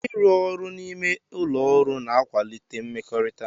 Ịrụ ọrụ n'ime ụlọ ọrụ na-akwalite mmekọrịta.